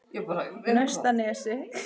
Naustanesi